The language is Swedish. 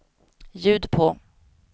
ljud på